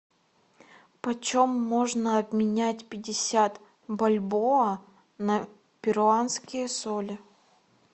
по чем можно обменять пятьдесят бальбоа на перуанские соли